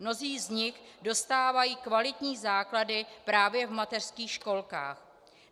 Mnozí z nich dostávají kvalitní základy právě v mateřských školkách.